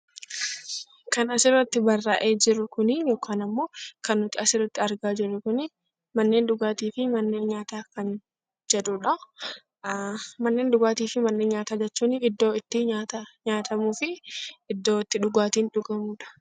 Kan asirratti barraa'ee jiru kunii yookaan ammoo kan nuti asirratti argaa jirru kunii 'manneen dhugaatii fi manneen nyaataa' kan jedhuu dha. Manneen dhugaatii fi manneen nyaataa jechuun iddoo itti nyaata nyaatamuu fi iddoo itti dhugaatiin dhugamuu dha.